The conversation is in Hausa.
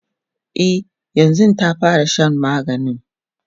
e yanzun ta fara Shan maganin